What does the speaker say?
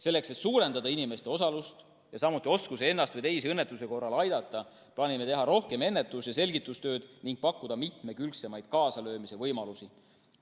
Selleks, et suurendada inimeste osalust ja samuti oskusi ennast või teisi õnnetuse korral aidata, plaanime teha rohkem ennetus‑ ja selgitustööd ning pakkuda mitmekülgsemaid kaasalöömise võimalusi.